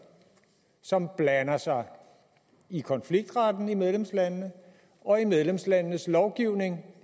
som blander sig i konfliktretten i medlemslandene og i medlemslandenes lovgivning